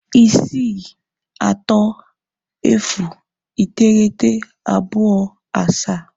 630927